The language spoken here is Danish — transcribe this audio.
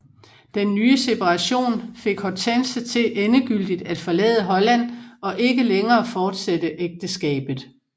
Den nye separation fik Hortense til endegyldigt at forlade Holland og ikke længere fortsætte ægteskabet